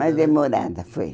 Mais demorada, foi.